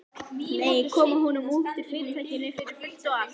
Nei, koma honum út úr Fyrirtækinu fyrir fullt og allt.